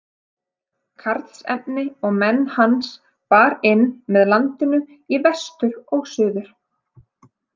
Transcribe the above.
Karlsefni og menn hans bar inn með landinu í vestur og suður.